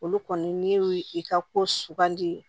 Olu kɔni n'i y'u i ka ko sugandi